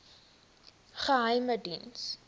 geheimediens